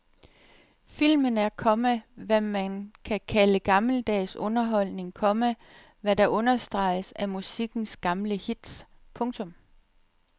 Filmen er, komma hvad man kan kalde gammeldags underholdning, komma hvad der understreges af musikkens gamle hits. punktum